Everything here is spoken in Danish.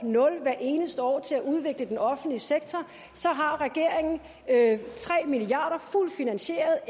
nul hvert eneste år til at udvikle den offentlige sektor har regeringen tre milliard fuldt finansieret og